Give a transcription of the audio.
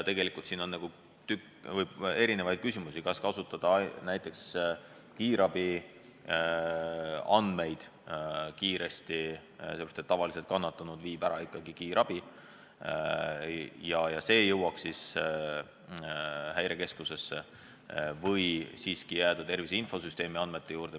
Tegelikult on siin mitu küsimust: kas kasutada kiiresti näiteks kiirabi andmeid – tavaliselt viib kannatanu ära ikkagi kiirabi – ja see info jõuaks Häirekeskusesse, või jääda siiski tervise infosüsteemi andmete juurde.